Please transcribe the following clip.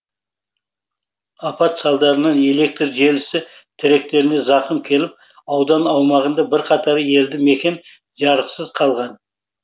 апат салдарынан электр желісі тіректеріне зақым келіп аудан аумағында бірқатар елді мекен жарықсыз қалған